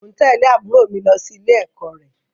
Mò ń tẹ̀lé àbúrò mi lọ sí ilé-ẹ̀kọ́ rẹ